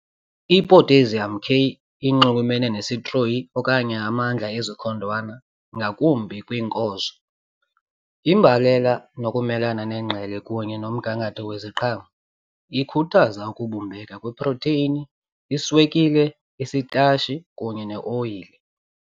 I-Potassium K inxulumene nesitroyi okanye amandla ezikhondwana ngakumbi kwiinkozo, imbalela nokumelana nengqele kunye nomgangatho weziqhamo. Ikhuthaza ukubumbeka kweprotheyini, iswekile, isitatshi kunye neeoyile.